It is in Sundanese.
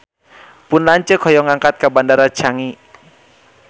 Pun lanceuk hoyong angkat ka Bandara Changi